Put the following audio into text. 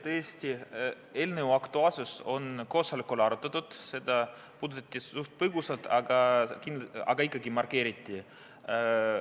Tõesti, eelnõu aktuaalsust koosolekul arutati, seda puudutati suht põgusalt, aga ikkagi markeeriti.